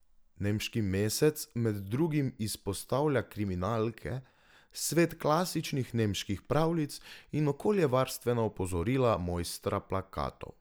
Nemški mesec med drugim izpostavlja kriminalke, svet klasičnih nemških pravljic in okoljevarstvena opozorila mojstra plakatov.